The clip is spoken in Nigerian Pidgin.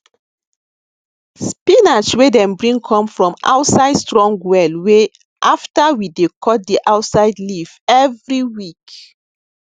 spinach wey dem bring come from outside strong wellwey ll after we dey cut the outside leaf every week